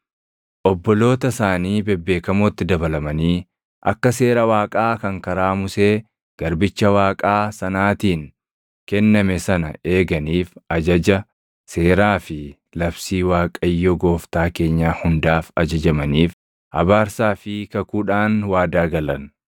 obboloota isaanii bebeekamootti dabalamanii akka Seera Waaqaa kan karaa Musee garbicha Waaqaa sanaatiin kenname sana eeganiif ajaja, seeraa fi labsii Waaqayyo Gooftaa keenyaa hundaaf ajajamaniif abaarsaa fi kakuudhaan waadaa galan.